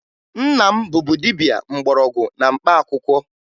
Nna m bụbu dibia mgbọrọgwụ na mkpaakwụkwọ